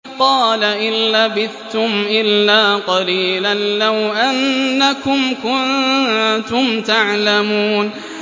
قَالَ إِن لَّبِثْتُمْ إِلَّا قَلِيلًا ۖ لَّوْ أَنَّكُمْ كُنتُمْ تَعْلَمُونَ